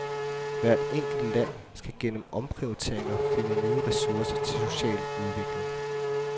Hvert enkelt land skal gennem omprioriteringer finde nye ressourcer til social udvikling.